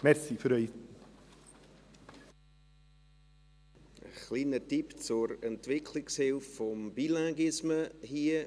Ein kleiner Tipp als Entwicklungshilfe für den Bilinguisme hier: